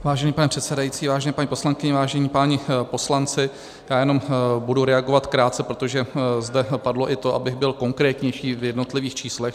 Vážený pane předsedající, vážené paní poslankyně, vážení páni poslanci, já jenom budu reagovat krátce, protože zde padlo i to, abych byl konkrétnější v jednotlivých číslech.